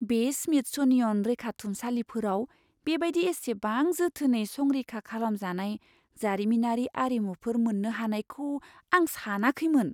बे स्मिथस'नियन रैखाथुमसालिफोराव बेबायदि इसेबां जोथोनै संरैखा खालामजानाय जारिमिनारि आरिमुफोर मोन्नो हानायखौ आं सानाखैमोन।